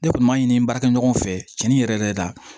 Ne kɔni m'a ɲini n baarakɛ ɲɔgɔnw fɛ cɛnni yɛrɛ yɛrɛ la